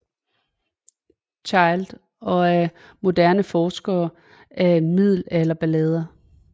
Child og af moderne forskere af middelalderballader